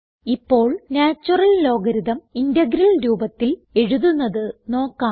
ഇപ്പോൾ natural logarithm integral രൂപത്തിൽ എഴുതുന്നത് നോക്കാം